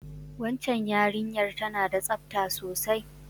Wacan yarinyar ta na da tsafta sosai